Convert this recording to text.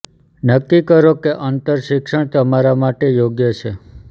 નક્કી કરો કે અંતર શિક્ષણ તમારા માટે યોગ્ય છે